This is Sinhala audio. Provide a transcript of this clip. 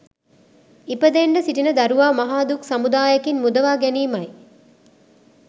ඉපදෙන්ඩ සිටින දරුවා මහා දුක් සමුදායකින් මුදවා ගැනීමයි